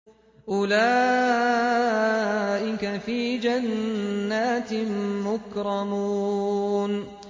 أُولَٰئِكَ فِي جَنَّاتٍ مُّكْرَمُونَ